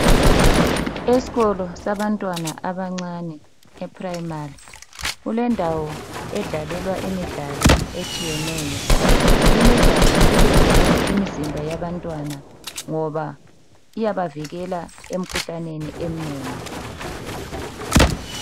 Esikolo sabantwana abancane ePrimary kulendawo edlalelwa imidlalo etshiyeneyo. Imidlalo ilungele imizimba yabantwana ngoba iyabavikela emkhuhlaneni eminengi.